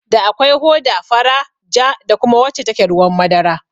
Da akwai hoda fara, ja, da kuma wacce take ruwan madara